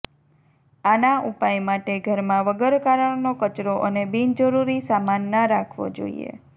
આના ઉપાય માટે ઘરમાં વગર કારણનો કચરો અને બિનજરૂરી સામાન ના રાખવો જોઇએ